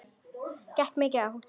Gekk mikið á?